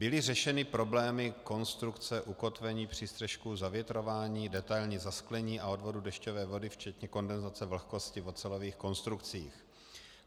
Byly řešeny problémy konstrukce, ukotvení přístřešku, zavětrování, detailní zasklení a odvodu dešťové vody, včetně kondenzace vlhkosti v ocelových konstrukcích.